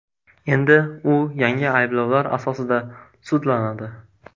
Endi u yangi ayblovlar asosida sudlanadi.